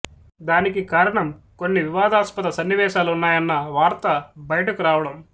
దానికి కారణం కొన్ని వివాదాస్పద సన్నివేశాలున్నయన్న వార్త బయటకు రావడం